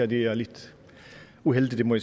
det er lidt uheldigt det må